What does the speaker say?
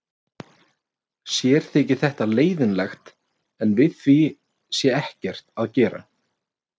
Sér þyki þetta leiðinlegt en við því sé ekkert að gera.